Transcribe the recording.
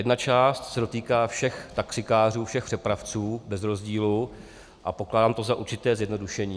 Jedna část se dotýká všech taxikářů, všech přepravců bez rozdílu a pokládám to za určité zjednodušení.